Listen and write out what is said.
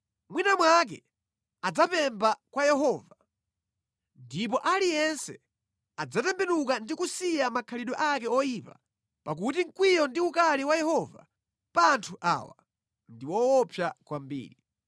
Mwina mwake adzapempha kwa Yehova ndipo aliyense adzatembenuka ndi kusiya makhalidwe ake oyipa pakuti mkwiyo ndi ukali wa Yehova pa anthu awa ndi woopsa kwambiri.”